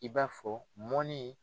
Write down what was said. I b'a fɔ: mɔni